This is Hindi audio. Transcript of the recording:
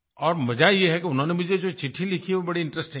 और मज़ा ये है कि उन्होंने मुझे जो चिट्ठी लिखी है वो बड़ी इंटरेस्टिंग है